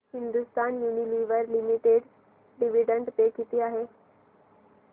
Hindustan Unilever Limited dividend pay किती आहे